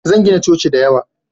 Zan gina coci da yawa